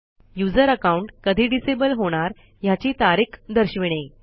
user account कधी disable होणार ह्याची तारीख दर्शविणे